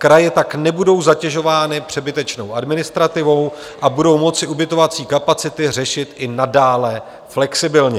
Kraje tak nebudou zatěžovány přebytečnou administrativou a budou moci ubytovací kapacity řešit i nadále flexibilně.